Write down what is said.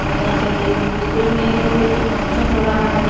और यहां पे स्कूल में कुछ फंक्शन हो रहा है।